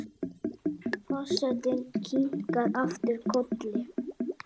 Forsetinn kinkar aftur kolli.